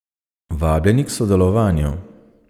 Vabljeni k sodelovanju.